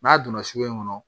N'a donna sugu in kɔnɔ